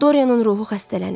Doryanın ruhu xəstələnib.